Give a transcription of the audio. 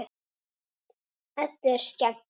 Eddu er skemmt.